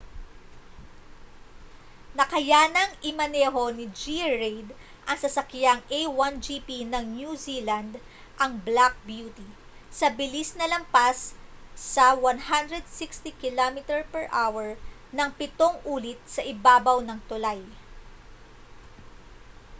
nakayanang imaneho ni g. reid ang sasakyang a1 gp ng new zealand ang black beauty sa bilis na lampas sa 160km/h nang pitong ulit sa ibabaw ng tulay